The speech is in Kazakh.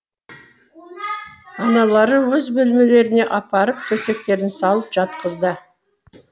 аналары өз бөлмелеріне апарып төсектерін салып жатқызды